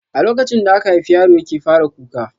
A lokacin da aka haifi yaro yake fara kuka